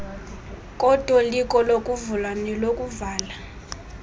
kotoliko lokuvula nelokuvala